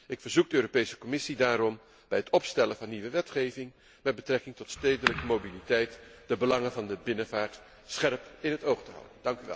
Ik verzoek de Europese Commissie daarom bij het opstellen van nieuwe wetgeving met betrekking tot de stedelijke mobiliteit de belangen van de binnenvaart scherp in het oog te houden.